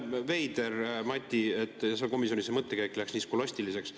Veider, Mati, et komisjonis su mõttekäik läks nii skolastiliseks.